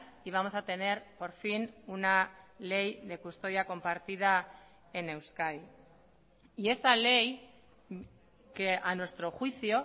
y vamos a tener por fin una ley de custodia compartida en euskadi y esta ley que a nuestro juicio